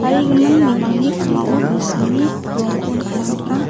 bimangni ka·mao tangsimni rongko nikna man·a.